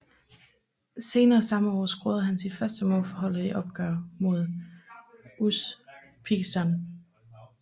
Senere samme år scorede han sit første mål for holdet i et opgør mod Usbekistan